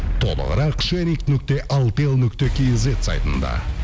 толығырақ шеринг нүкте алтел нүкте кизет сайтында